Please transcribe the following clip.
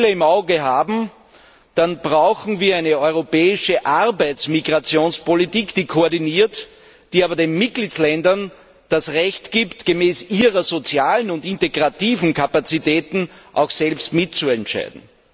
im Auge haben, dann brauchen wir eine europäische Arbeitsmigrationspolitik, die koordiniert, die aber den Mitgliedstaaten das Recht gibt, gemäß ihren sozialen und integrativen Kapazitäten auch selbst mitzuentscheiden.